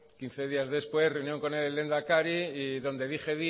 quince días después reunión con el lehendakari y donde dije